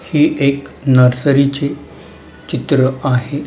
हे एक नर्सरीचे चित्र आहे.